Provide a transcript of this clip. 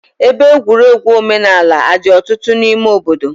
Ebe egwuregwu omenaala adị ọtụtụ n'ime obodo?